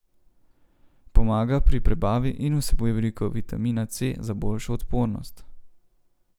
Pomaga pri prebavi in vsebuje veliko vitamina C za boljšo odpornost.